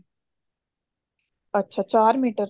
ਅੱਛਾ ਚਾਰ ਮੀਟਰ